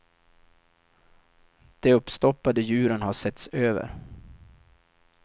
De uppstoppade djuren har setts över.